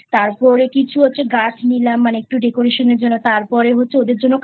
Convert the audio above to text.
তারপরে কিছু হচ্ছে গাছ নিলাম মানে একটু Decoration এর জন্য তারপর হচ্ছে ওদের জন্য